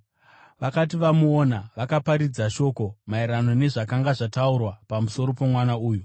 Vakati vamuona, vakaparadzira shoko maererano nezvakanga zvataurwa pamusoro pomwana uyu,